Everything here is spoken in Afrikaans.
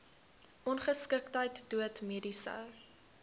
ongeskiktheid dood mediese